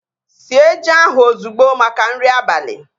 Sie ji ahu ozugbo maka nri abali!